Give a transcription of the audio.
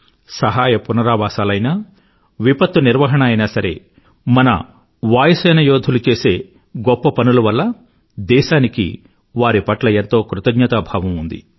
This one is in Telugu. సహాయ పునరావాసాలు అయినా విపత్తు నిర్వహణ అయినా సరే మన వాయుసేనా యోధులు చేసే మెచ్చుకోలు పనుల వల్ల దేశానికి వారి పట్ల ఎంతో కృతజ్ఞతాభావంతో ఉంది